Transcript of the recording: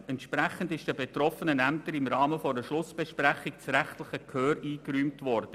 Entsprechend wurde den betroffenen Ämtern im Rahmen einer Schlussbesprechung das rechtliche Gehör eingeräumt.